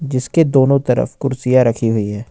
जिसके दोनो तरफ कुर्सियां रखी हुई है।